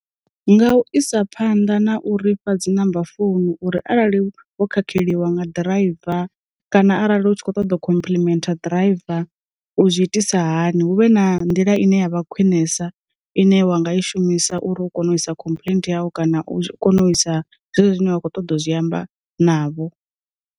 Nga u isa phanḓa na u ri pfha dzi number founu uri arali vho khakheliwa nga ḓiraiva, kana arali hu tshi khou ṱoḓa khomplimentha ḓiraiva u zwi itisa sa hani, hu vhe na nḓila ine ya vha khwinesa ine wanga i shumisa uri u kone u isa complaint yau kana u kona u isa zwe zwine wa kho ṱoḓa zwi amba navho.